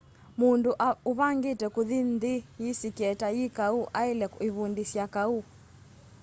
mundu uvangite kuthi nthi yisikie ta yi kau aile ivundisya kau